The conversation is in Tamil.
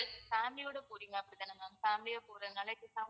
family யோட போறீங்க அப்படிதானே ma'amfamliy யா போறதுனால